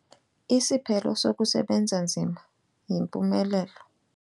Isiphelo sokusebenza nzima yimpumelelo.